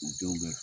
U denw bɛ